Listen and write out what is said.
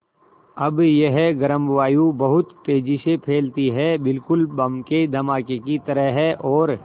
अब यह गर्म वायु बहुत तेज़ी से फैलती है बिल्कुल बम के धमाके की तरह और